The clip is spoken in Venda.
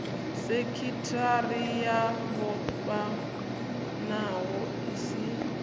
sekithara yo vhofhanaho i si